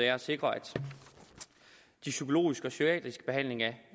er at sikre psykologisk og psykiatrisk behandling af